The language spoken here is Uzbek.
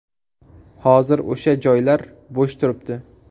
Hozir o‘sha joylar bo‘sh turibdi.